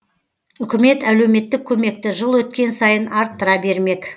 үкімет әлеуметтік көмекті жыл өткен сайын арттыра бермек